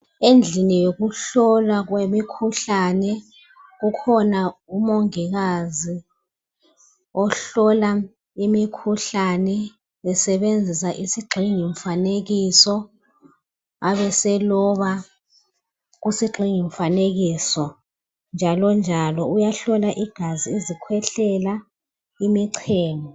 Endlini yokuhlolwa kwemikhuhlane, ukhona umongikazi ohlola imikhuhlane esebenzisa isigxingi mfanekiso ebeseloba kusigxingi mfanekiso. Njalo njalo uyahlola igazi izikhwehlela imichemo.